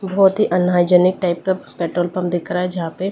बहुत ही unhygienic type का पेट्रोल पंप दिख रहा है जहां पे--